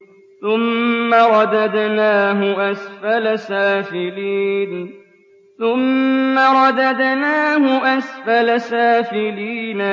ثُمَّ رَدَدْنَاهُ أَسْفَلَ سَافِلِينَ